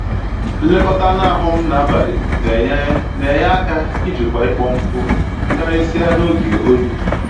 Nlekọta anụ ahụ m na abalị na enye na enye aka ijikwa ịkpọ nkụ, karịsịa n'oge oyi